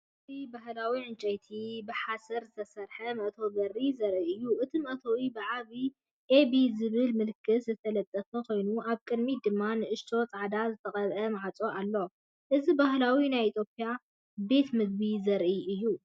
እዚ ባህላዊ ዕንጨይትን ብሓሰርን ዝተሰርሐ መእተዊ በሪ ዘርኢ እዩ። እቲ መእተዊ ብዓቢ "ኤቢ" ዝብል ምልክት ዝተለጠፈ ኮይኑ፡ ኣብ ቅድሚት ድማ ንእሽቶ ጻዕዳ ዝተቐብአ ማዕጾ ኣሎ። እዚ ባእላዊ ናይ ኢትዮጵያ ቤት ምግቢ ዘርኢ እዩ።